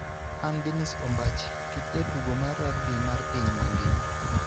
An Dennis Ombachi, kit jatugo mar rugby mar piny mangima